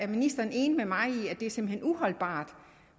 ministeren enig med mig i at det simpelt uholdbart